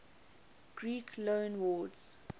greek loanwords